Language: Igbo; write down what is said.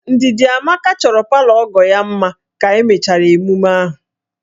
Ndidamaka chọrọ palọ ọgọ ya mma ka emechara emume ahụ